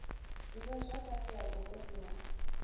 d ivhazwakale ya vhuhosi ha